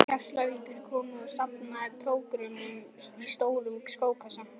Keflavíkur komu og safnaði prógrömmunum í stóran skókassa.